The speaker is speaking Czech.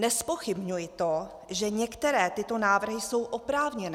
Nezpochybňuji to, že některé tyto návrhy jsou oprávněné.